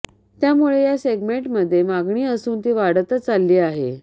त्यामुळे या सेगमेंटमध्ये मागणी असून ती वाढतच चालली आहे